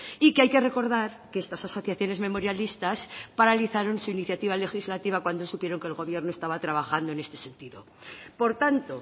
y que hay que recordar que estas asociaciones memorialistas paralizaron su iniciativa legislativa cuando supieron que el gobierno estaba trabajando en este sentido por tanto